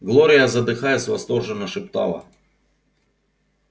глория задыхаясь восторженно шептала